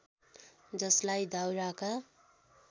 जसलाई दाउराका